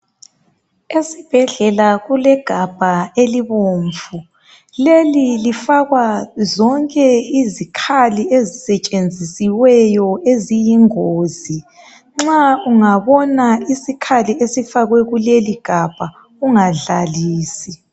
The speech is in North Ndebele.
esibhedlela kule gabha elibomvu leli lifakwa zonke izikhali ezisetshenzisiweyo eziyingozi nxa ungabona isikhali esifakwe kuleli gabha ungadlalisi